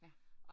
Ja